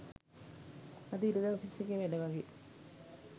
අද ඉරිදා ඔෆිස් එකේ වැඩ වගේ